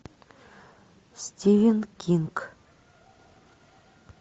стивен кинг